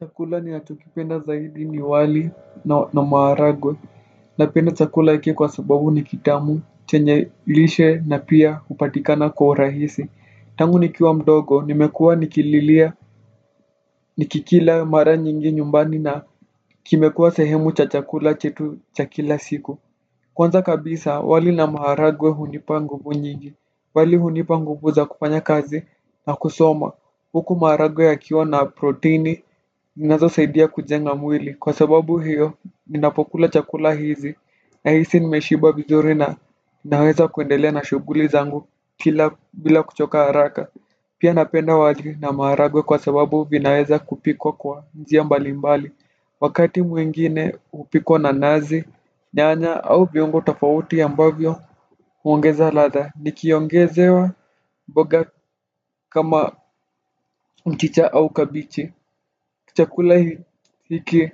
Chakula ninachokipenda zaidi ni wali na maharagwe. Napenda chakula hiki kwa sababu ni kitamu chenye lishe na pia hupatikana kwa rahisi. Tangu nikiwa mdogo nimekuwa nikililia nikikila mara nyingi nyumbani na kimekuwa sehemu cha chakula chetu cha kila siku. Kwanza kabisa wali na maharagwe hunipa nguvu nyingi. Wali hunipa nguvu za kufanya kazi na kusoma. Huku maharagwe yakiwa na proteini, zinazosaidia kujenga mwili. Kwa sababu hiyo, ninapokula chakula hizi nahisi nimeshiba vizuri na naweza kuendelea na shughuli zangu bila kuchoka haraka. Pia napenda wali na maharagwe kwa sababu vinaweza kupikwa kwa njia mbali mbali. Wakati mwingine hupikwa na nazi, nyanya au viungo tofauti ya ambavyo huongeza ladha. Nikiongezewa mboga kama mchicha au kabichi chakula hiki